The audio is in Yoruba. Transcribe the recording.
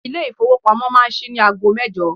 Ilé ìfowópamọ́ máa ṣí ní ago mẹ́jọ.